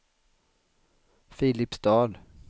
Filipstad